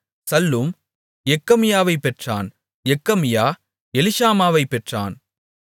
Shallum எக்கமியாவைப் பெற்றான் Jekamiah எலிஷாமாவைப் பெற்றான்